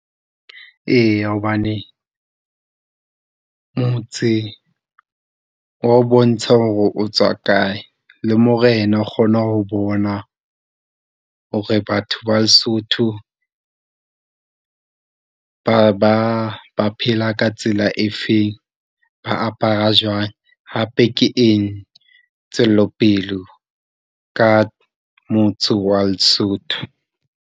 Eya hobane motse o wa o bontsha hore o tswa kae, le Morena o kgona ho bona hore batho ba Lesotho ba, ba, ba phela ka tsela e feng, ba apara jwang hape ke eng tswelopele ka motse wa Lesotho?